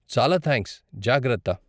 చాలా థాంక్స్, జాగ్రత్త.